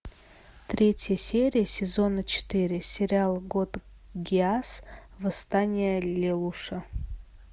третья серия сезона четыре сериал код гиас восстание лелуша